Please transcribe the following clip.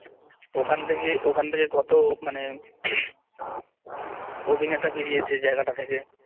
ওখান থেকে ওখান থেকে কত মানে অভিনেতা বেরিয়েছে জায়গাটা থেকে